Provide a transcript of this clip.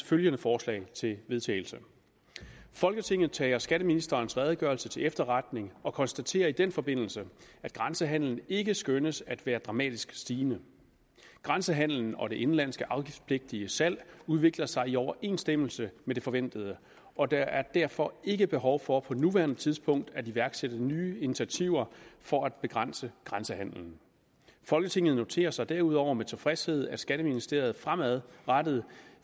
følgende forslag til vedtagelse folketinget tager skatteministerens redegørelse til efterretning og konstaterer i den forbindelse at grænsehandlen ikke skønnes at være dramatisk stigende grænsehandlen og det indenlandske afgiftspligtige salg udvikler sig i overensstemmelse med det forventede og der er derfor ikke behov for på nuværende tidspunkt at iværksætte nye initiativer for at begrænse grænsehandlen folketinget noterer sig derudover med tilfredshed at skatteministeriet fremadrettet